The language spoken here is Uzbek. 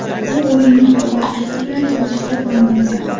U o‘yinni hozirgisi bilan solishtirib bo‘lmaydi.